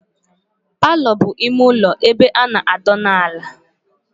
Palo bụ ime ụlọ ebe a na adona ala